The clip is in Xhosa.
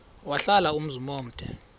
wahlala umzum omde